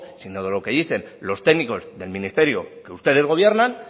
sino de lo que dicen los técnicos del ministerio que ustedes gobiernan